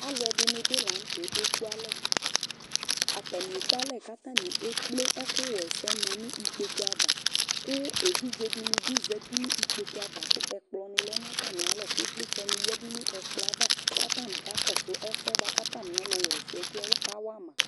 ɑlụɛɗiɲibi lɑɲụtɛ kɛ kɛkụɑlɛ ɑtɑɲi ɛkplɛ ɛkụ hɛsɛmɑɲi kpọkụɑvɑ ké ɛvidzɛ ɗiɲibi zɑtiɲ ïkpokụɑvɑ kụ ɛvidzɛɗiɲibi zɑti ɲikpọkụɑvɑ kẽ ƙplɔɲilɛ ɲɑtɑmiɑlɔ kivlitsɛ ɲiyɛɗụɲɛ kploɑvɑ kɑtɑɲi ƙɑkɔsụɛsɛ ɛsɛ kụ ɑtɑmiọlụ wïɲi ƙɑwɑmɑ